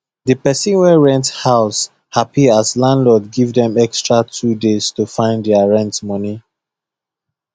the people wey rent house happy as landlord give dem extra 2 days to find their rent money